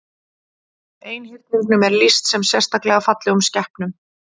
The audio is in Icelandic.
Einhyrningum er lýst sem sérstaklega fallegum skepnum.